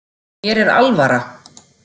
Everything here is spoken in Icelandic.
Mér er alvara.